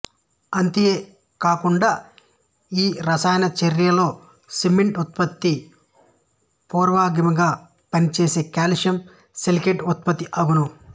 అంతియే కాకుండగాఈ రసాయన చర్యలో సిమెంట్ ఉత్పత్తికి పూర్వగామిగా పనిచేయు కాల్షియం సిలికేట్ ఉత్పత్తి అగును